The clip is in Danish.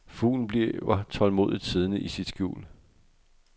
Fuglen bliver tålmodigt siddende i sit skjul.